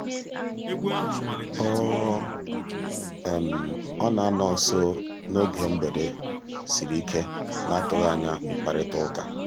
ọ ọ na-anọ nso um n'oge mgbede sịrị ike na-atụghị anya mkparịtaụka